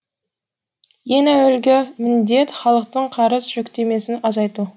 ең әуелгі міндет халықтың қарыз жүктемесін азайту